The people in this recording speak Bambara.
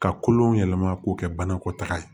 Ka kolon yɛlɛma k'o kɛ banakɔtaga ye